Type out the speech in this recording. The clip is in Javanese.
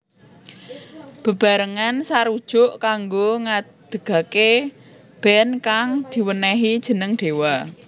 Bebarengan sarujuk kanggo ngadegaké band kang diwenehi jeneng Dewa